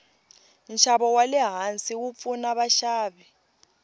nshavo walehhansi wupfuna vashavi